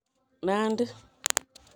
Nandi